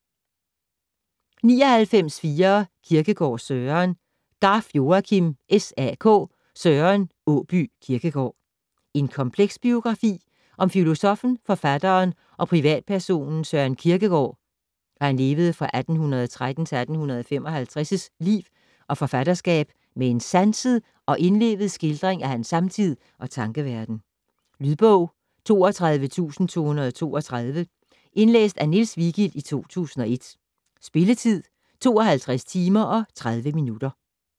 99.4 Kierkegaard, Søren Garff, Joakim: SAK: Søren Åbye Kierkegård En kompleks biografi om filosoffen, forfatteren og privatpersonen Søren Kierkegaards (1813-1855) liv og forfatterskab med en sanset og indlevet skildring af hans samtid og tankeverden. Lydbog 32232 Indlæst af Niels Vigild, 2001. Spilletid: 52 timer, 30 minutter.